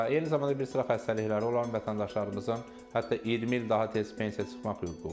Eyni zamanda bir sıra xəstəlikləri olan vətəndaşlarımızın, hətta 20 il daha tez pensiya çıxmaq hüququ var.